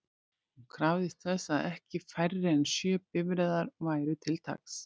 Hún krafðist þess að ekki færri en sjö bifreiðar væru til taks.